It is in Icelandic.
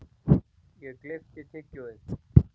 Ég gleypti tyggjóið.